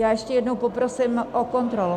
Já ještě jednou poprosím o kontrolu.